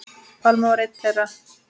Pálmi var einn þeirra.